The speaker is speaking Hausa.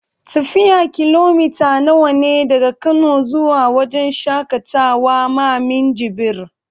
Tafiyar kilomita nawa ne daga kano zuwa wajan shaƙatawa ma Minjibir?